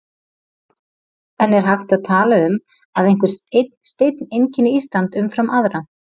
En er hægt að tala um að einhver einn steinn einkenni Ísland umfram aðra?